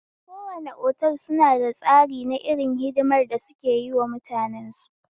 Kowane otal suna da tsari na irin hidimar da suke yiwa mutanensu